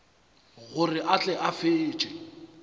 gore a tle a fetše